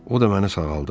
O da məni sağaldıb.